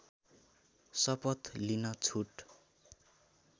शपथ लिन छुट